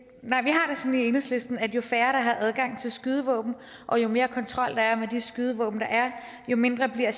enhedslisten at jo færre der har adgang til skydevåben og jo mere kontrol der er med de skydevåben der er jo mindre bliver